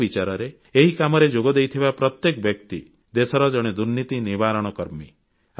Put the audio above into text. ମୋ ବିଚାରରେ ଏହି କାମରେ ଯୋଗଦେଇଥିବା ପ୍ରତ୍ୟେକ ବ୍ୟକ୍ତି ଦେଶର ଜଣେ ଦୁର୍ନୀତି ନିବାରଣ କର୍ମୀ